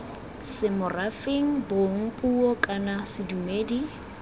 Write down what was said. semorafeng bong puo kana sedumedi